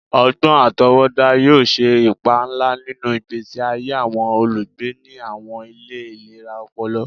Ọgbọn atọwọda yoo ṣe ipa nla ninu igbesi aye awọn olugbe ni awọn ile ilera ọpọlọ